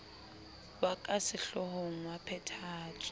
ya ka sehloohong wa phethahatso